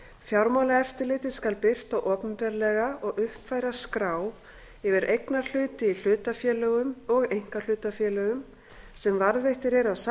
fjármálaeftirlitið skal birta opinberlega og uppfæra skrá yfir eignarhluti í hlutafélögum og einkahlutafélögum sem varðveittir eru á